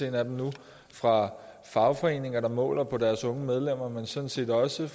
en af dem nu fra fagforeninger der måler på deres unge medlemmer men sådan set også